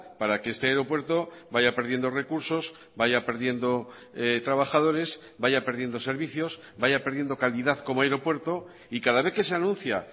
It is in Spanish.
para que este aeropuerto vaya perdiendo recursos vaya perdiendo trabajadores vaya perdiendo servicios vaya perdiendo calidad como aeropuerto y cada vez que se anuncia